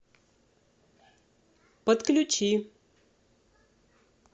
подключи